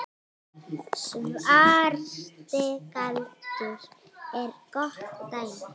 Svarti galdur er gott dæmi.